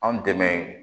Anw dɛmɛ